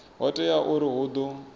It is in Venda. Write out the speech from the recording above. ho teaho uri hu ḓo